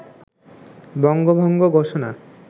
বঙ্গভঙ্গ ঘোষণা